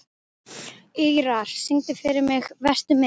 Ýrar, syngdu fyrir mig „Vertu með“.